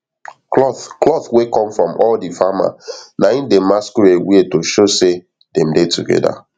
cloth cloth wey come from all the farmer na en dem masquerade wear to show sey dem dey together